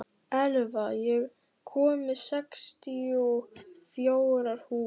Elva, ég kom með sextíu og fjórar húfur!